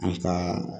An ka